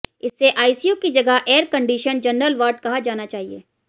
इसे आईसीयू की जगह एयरकंडीशन जनरल वार्ड कहा जाना चाहिए